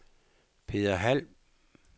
Peder Hald